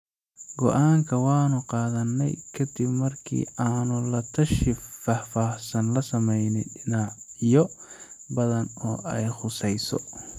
“Go’aanka waanu qaadanay ka dib markii aanu la tashi faahfaahsan la samaynay dhinacyo badan oo ay khusayso.